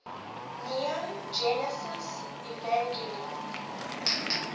neon genesis evangelion